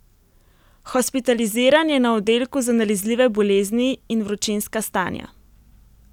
Hospitaliziran je na oddelku za nalezljive bolezni in vročinska stanja.